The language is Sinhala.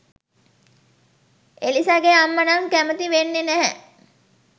එලිසගෙ අම්ම නම් කැමති වෙන්නෙ නැහැ